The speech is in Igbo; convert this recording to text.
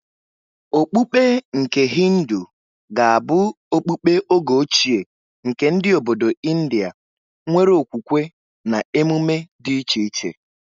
Okpukpe nke Hindu ga-abụ okpukpe oge ochie nke ndị obodo India nwere okwukwe na emume dị iche iche.